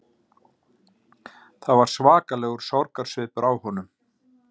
Það var svakalegur sorgarsvipur á honum